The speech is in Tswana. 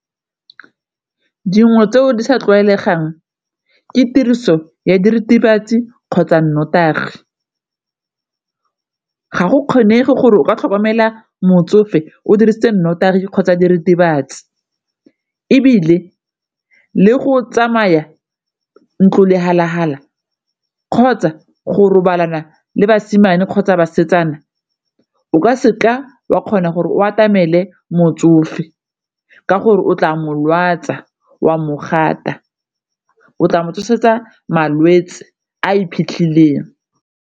Dingwe tseo di sa tlwaelegang ke tiriso ya diritibatsi kgotsa nnotagi ga go kgonege gore o ka tlhokomela motsofe o dirisitse nnotagi kgotsa diritibatsi, ebile le go tsamaya ntlo lehala-hala kgotsa go robalana le basimane kgotsa basetsana o ka seka wa kgona gore o atamele motsofe, ka gore o tla molwatsa wa mogata, o tla mo tshosetsa malwetse a iphitlheleng.